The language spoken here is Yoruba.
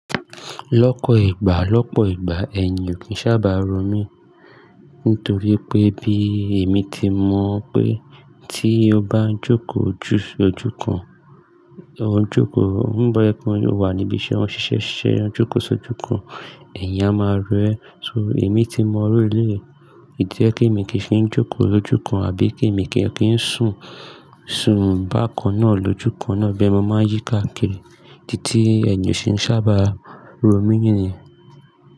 Lọ́pọ̀ ìgbà, lọ́pọ̀ ìgbà ẹ̀yin ò kì í sábà ro mí, nítorí pé bí èmi ti mọ̀ pé tí o bá o jókòó ju sojúkan, o ń jókòó, o ń bọ́ ẹkún, o wà níbi iṣẹ́, o ń ṣiṣẹ́, o ń jókòó sojúkan, ẹ̀yin a máa ro ẹ́. So, èmi ti mọ iru eleyi, ìdí niyen ti èmi kì í fi ń jókòó lójúkan àbí kí èmi kì í sún, sún bákan náà lójúkan náà bẹ́ẹ̀ ni mo máa yí ká kì í, idi tí ẹ́yin o ṣe ń sábà ro mí nìyẹn.